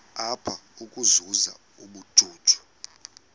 apha ukuzuza ubujuju